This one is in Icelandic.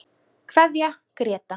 Kveðja Gréta.